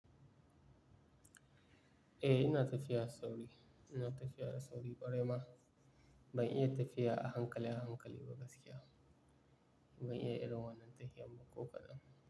Eh ina tafiya sauri, ina tafiya a sauri ƙware ma. Ban iya tafiya a hankali a hankali ba gaskiya. Ban iya irin wannan tahiyan ba ko kaɗan.